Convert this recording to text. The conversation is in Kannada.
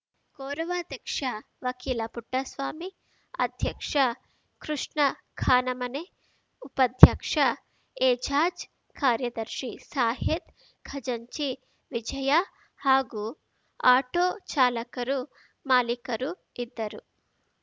ಗೌರವಾಧ್ಯಕ್ಷ ವಕೀಲ ಪುಟ್ಟಸ್ವಾಮಿ ಅಧ್ಯಕ್ಷ ಕೃಷ್ಣ ಕಾನಮನೆ ಉಪಾಧ್ಯಕ್ಷ ಎಜಾಜ್‌ ಕಾರ್ಯದರ್ಶಿ ಸಾಹೀದ್‌ ಖಜಾಂಚಿ ವಿಜಯ ಹಾಗೂ ಆಟೋ ಚಾಲಕರು ಮಾಲೀಕರು ಇದ್ದರು